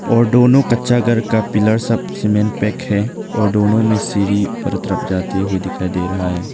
और दोनों कच्चा घर का पिलर्स सब सीमेंट पैक है और दोनों में सीढ़ी ऊपर की तरफ जाती हुई दिखाई दे रहा है।